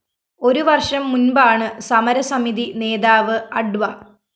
ഒരു വര്‍ഷം മുന്‍പാണ് സമരസമിതി നേതാവ് അഡ്വ